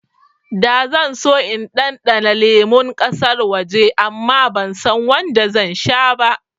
Da zan so in ɗanɗana lemun ƙasar waje amma bansan wanda zan sha ba